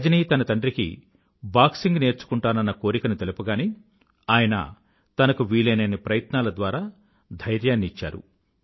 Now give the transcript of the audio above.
రజని తన తండ్రికి బాక్సింగ్ నేర్చుకుంటానన్న కోరికని తెలుపగానే ఆయన తనకు వీలయినన్ని ప్రయత్నాల ద్వారా ఆమెకు ధైర్యాన్ని ఇచ్చారు